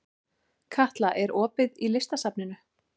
Katla, er opið í Listasafninu?